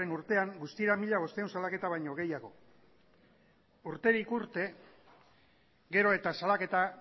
urtean guztira mila bostehun salaketa baino gehiago urterik urte gero eta salaketa